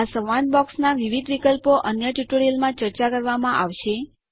આ સંવાદ બોક્સના વિવિધ વિકલ્પો અન્ય ટ્યુટોરીયલમાં ચર્ચા કરવામાં આવશે